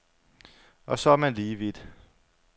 Og så er man lige vidt.